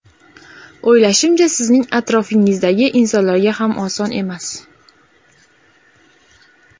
O‘ylashimcha, sizning atrofingizdagi insonlarga ham oson emas.